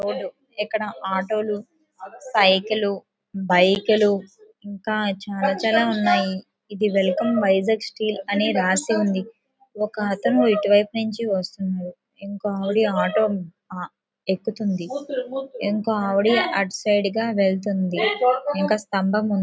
ఇక్కడ ఆటోలుసైకిలు బైకులు ఇంకా చాలా చాలా ఉన్నాయి. ఇది వెల్కమ్ వైజాగ స్టీల్ అని రాసి ఉంది. ఒక అతని ఎటువైపు నుంచి వస్తుంది. ఒక ఆవిడ ఆటో ఎక్కుతుంది. ఒక ఆవిడ అటు సైడ్ గా వెళ్తుంది ఇంకా స్తంభం ఉంది.